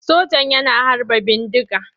Sojan yana harba bindiga.